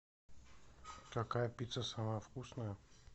какая пицца самая вкусная